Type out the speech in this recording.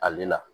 Ale la